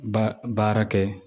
Ba baara kɛ